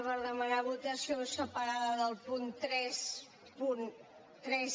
per demanar votació separada del punt trenta tres